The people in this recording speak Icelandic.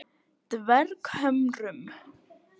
Dverghömrum